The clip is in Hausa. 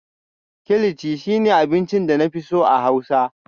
kilichi shine abincin da na fi so a Hausa